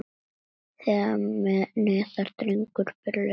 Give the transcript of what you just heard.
Þegar neðar dregur breikka þær.